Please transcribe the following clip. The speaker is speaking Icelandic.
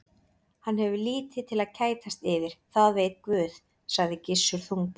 Hann hefur lítið til að kætast yfir, það veit Guð, sagði Gissur þungbúinn.